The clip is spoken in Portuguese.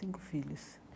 Cinco filhos.